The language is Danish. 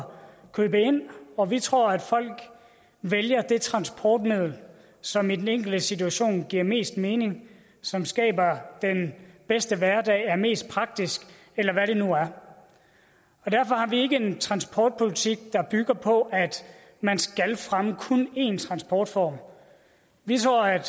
købe ind og vi tror at folk vælger det transportmiddel som i den enkelte situation giver mest mening som skaber den bedste hverdag som er mest praktisk eller hvad det nu er derfor har vi ikke en transportpolitik der bygger på at man skal fremme kun én transportform vi tror at